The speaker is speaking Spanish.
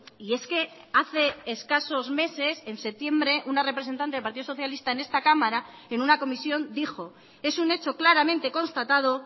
y es que hace escasos meses en septiembre una representante del partido socialista en esta cámara en una comisión dijo es un hecho claramente constatado